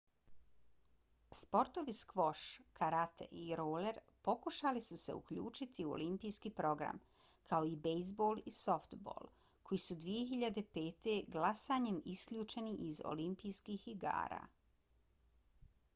sportovi skvoš karate i roler pokušali su se uključiti u olimpijski program kao i bejzbol i softbol koji su 2005. glasanjem isključeni iz olimpijskih igara